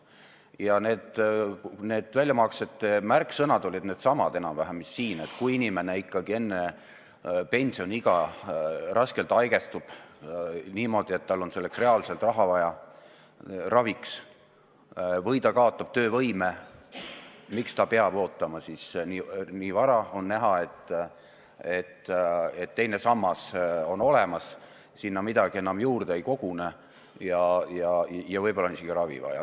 Ja need väljamaksetega seotud märksõnad olid siis enam-vähem samad, mis siin on kõne all olnud: kui inimene enne pensioniikka jõudmist raskelt haigestub, nii et tal on raviks reaalselt raha vaja, või ta kaotab töövõime, siis miks ta peaks ootama, kui on näha, et teine sammas on olemas ja sinna midagi enam juurde ei kogune?